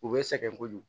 U bɛ sɛgɛn kojugu